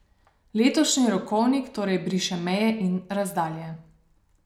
Letošnji rokovnik torej briše meje in razdalje.